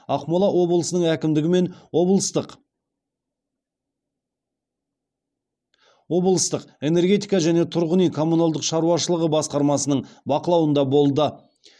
ақмола облысының әкімдігі мен облыстық энергетика және тұрғын үй коммуналдық шаруашылығы басқармасының бақылауында болды